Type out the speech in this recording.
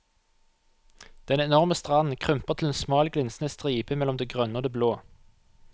Den enorme stranden krymper til en smal glinsende stripe mellom det grønne og det blå.